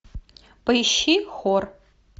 поищи хор